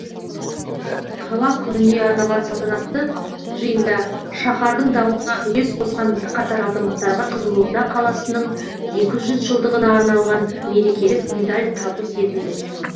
қала күніне арналған салтанатты жиында шаһардың дамуына үлес қосқан бірқатар азаматтарға қызылорда қаласының екі жүз жылдығына арналған мерекелік медаль табыс етілді